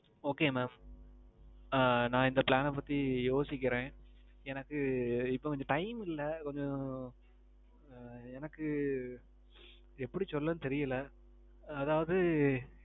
Okay mam. ஆ நான் இந்த plan அ பத்தி யோசிக்கிறேன். எனக்கு இப்போ கொஞ்சம் time இல்ல. கொஞ்சம். எனக்கு, எப்பிடி சொல்ல தெரியல. அதாவது,